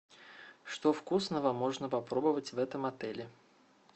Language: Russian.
что вкусного можно попробовать в этом отеле